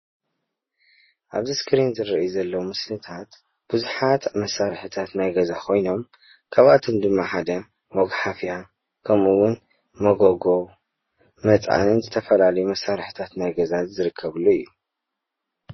ኣብዚ ስክሪን ዝርአዩ ዘለው ምስልታት ቡዙሓት መስርሕታት ናይ ገዛ ኾይኖም ኻብኣቶም ድማ ሓደ መግሓፍያ፣ ከሙኡ እዉን መጎጎ መፅዓንን ዝተፈላለዩ መሳርሕታት ናይ ገዛ ዝርከብሉ እዬ።